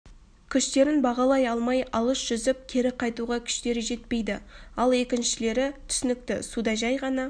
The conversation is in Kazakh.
күштерін бағалай алмай алыс жүзіп кері қайтуға күштері жетпейді ал екіншілері түсінікті суда жай ғана